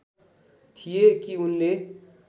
थिए कि उनले